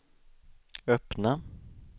öppna